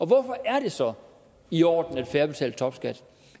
hvorfor er det så i orden at færre betaler topskat